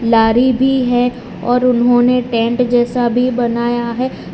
लारी भी है और उन्होंने टेंट जैसा भी बनाया है।